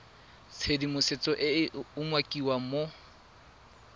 tshedimosetso e e umakiwang mo